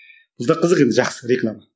бұл да қызық енді жақсы реклама